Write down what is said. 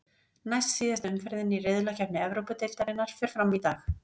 Næst síðasta umferðin í riðlakeppni Evrópudeildarinnar fer fram í dag.